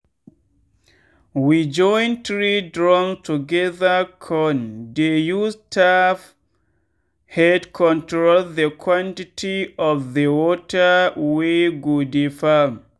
we join three drums togethercon dey use tap head control the quantity of the water wey go dey farm.